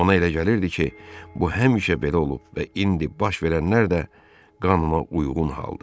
Ona elə gəlirdi ki, bu həmişə belə olub və indi baş verənlər də qanunauyğun haldır.